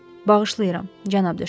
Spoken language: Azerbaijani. Bağışlayıram, cənab De Şarni.